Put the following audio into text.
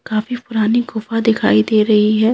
काफी पुरानी गुफा दिखाई दे रही है।